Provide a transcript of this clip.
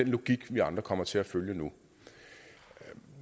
logik vi andre kommer til følge nu